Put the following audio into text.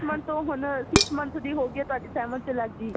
month ਤੋਂ ਹੁਣ sixth month ਦੀ ਹੋ ਗਈ ਤੁਹਾਡੀ seventh ਤੇ ਲੱਗ ਗਈ